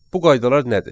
Bu qaydalar nədir?